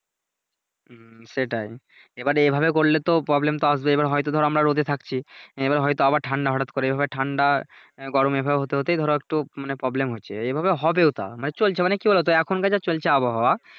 হুম সেটাই এবারে এইভাবে করলে তো Problem তো আসবেই এইবার হয়তো ধরো আমরা রোদে থাকছি এবার হয়তো আবার ঠান্ডা হঠাৎ করে এইভাবে ঠান্ডা গরমে এইভাবে হতে হতেই ধরো একটু মানে Problem হচ্ছে । এইভাবে হবেও তা মানে চলছে মানে কি বলোতো এখনকার যা চলছে আবহাওয়া